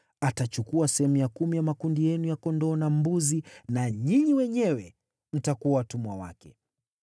Atachukua sehemu ya kumi ya makundi yenu ya kondoo na mbuzi, na ninyi wenyewe mtakuwa watumwa wake.